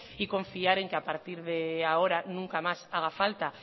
y confiar en que a partir de ahora nunca más haga falta